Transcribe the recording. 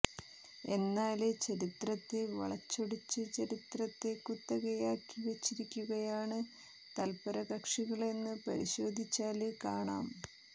എന്നാല് ചരിത്രത്തെ വളച്ചൊടിച്ച് ചരിത്രത്തെ കുത്തകയാക്കി വച്ചിരിക്കുകയാണ് തല്പരകക്ഷികളെന്ന് പരിശോധിച്ചാല് കാണാം